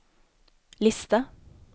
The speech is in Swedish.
lista